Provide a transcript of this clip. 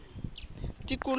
tikoloho